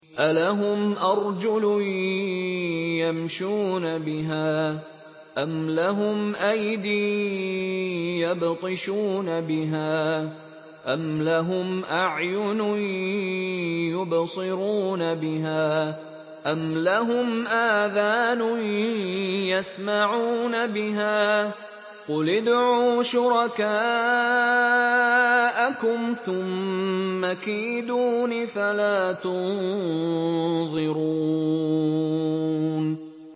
أَلَهُمْ أَرْجُلٌ يَمْشُونَ بِهَا ۖ أَمْ لَهُمْ أَيْدٍ يَبْطِشُونَ بِهَا ۖ أَمْ لَهُمْ أَعْيُنٌ يُبْصِرُونَ بِهَا ۖ أَمْ لَهُمْ آذَانٌ يَسْمَعُونَ بِهَا ۗ قُلِ ادْعُوا شُرَكَاءَكُمْ ثُمَّ كِيدُونِ فَلَا تُنظِرُونِ